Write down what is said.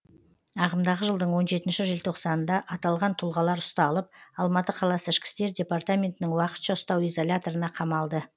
ағымдағы жылдың он жетінші желтоқсанында аталған тұлғалар ұсталып алматы қаласы ішкі істер департаментінің уақытша ұстау изоляторына қамалды